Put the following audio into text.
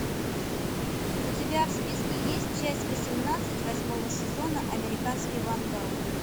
у тебя в списке есть часть восемнадцать восьмого сезона американский вандал